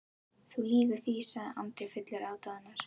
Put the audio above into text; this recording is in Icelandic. Þú lýgur því, sagði Andri fullur aðdáunar.